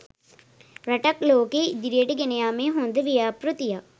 රටක් ලෝකයේ ඉදිරියට ගෙනයාමේ හොද ව්‍යාපෘතියක්